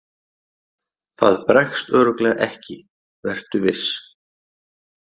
Það bregst örugglega ekki, vertu viss.